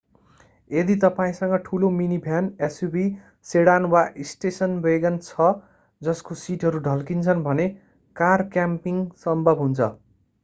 यदि तपाईंसँग ठूलो मिनीभ्यान suv सेडान वा स्टेसन वेगन छ जसको सीटहरू ढल्किन्छन् भने कार क्याम्पिंग सम्भव हुन्छ